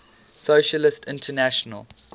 socialist international